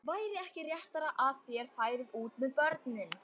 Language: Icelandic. Væri ekki réttara að þér færuð út með börnin?